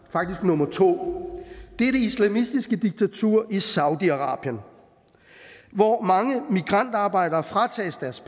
faktisk nummer to er det islamistiske diktatur i saudi arabien hvor mange migrantarbejdere fratages deres